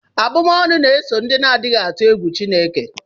Abụm'ọnụ na-eso ndị na-adịghị atụ egwu Chineke